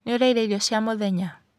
Nĩũrĩire irio cia mũthenya?